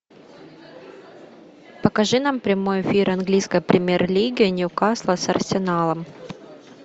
покажи нам прямой эфир английской премьер лиги ньюкасла с арсеналом